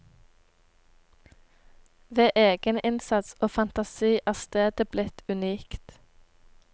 Ved egeninnsats og fantasi er stedet blitt unikt.